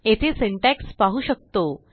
येथे सिंटॅक्स पाहू शकतो